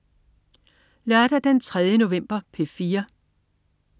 Lørdag den 3. november - P4: